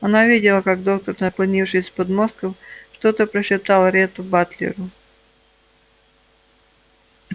она видела как доктор наклонившись с подмостков что-то прошептал ретту батлеру